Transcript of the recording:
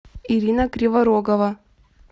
ирина криворогова